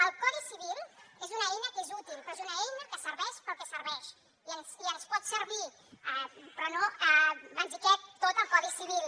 el codi civil és una eina que és útil però és una eina que serveix pel que serveix i ens pot servir però no ens hi cap tot al codi civil